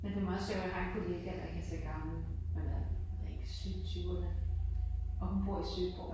Men det meget sjovt jeg har en kollega der ikke er så gammel, hun er, jeg ved ikke, slut tyverne, og hun bor i Søborg